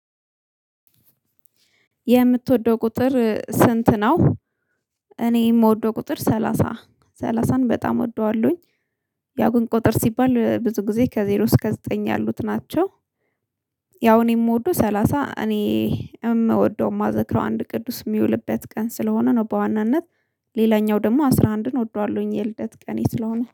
የምትወደው ቁጥር ስንት ነው? እኔ የምወደው ቁጥር ሰላሳ ሠላሳን በጣም እወደዋለሁኝ። ያው ግን ቁጥር ሲባል ብዙ ጊዜ ከዜሮ እስከ ዘጠኝ ያሉት ናቸው። ያው እኔ የምወደው ሰላሳ እኔ የምወደው የማዘክረው አንድ ቅዱስ የሚውልበት ቀን ስለሆነ ነው። በዋናነት ሌላኛው ደግሞ አስራ አንድን እወደዋለሁኝ የልደት ቀኔ ስለሆነ